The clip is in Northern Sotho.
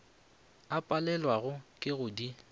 a palelwago ke go di